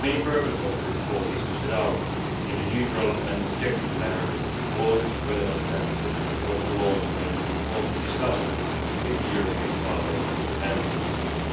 The main purpose of the report is to set out in a neutral and objective manner all relevant factors in order to launch an informed discussion with Parliament and the Council.